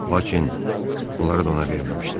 Lakin bunları da ona verməmişdilər.